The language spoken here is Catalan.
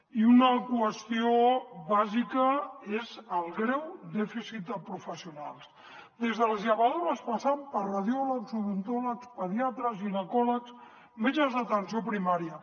i una qüestió bàsica és el greu dèficit de professionals des de les llevadores passant per radiòlegs odontòlegs pediatres ginecòlegs metges d’atenció primària